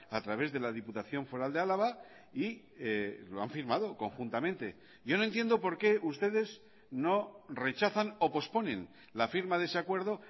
a través de la diputación foral de álava y lo han firmado conjuntamente yo no entiendo por qué ustedes no rechazan o posponen la firma de ese acuerdo